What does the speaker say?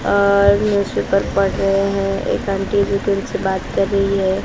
और न्यूजपेपर पढ़ रहे हैं एक आंटी जी तो उनसे बात कर रही है।